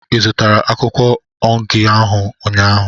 Ị zụtara akwụkwọ onugy ahụ ụnyaahụ?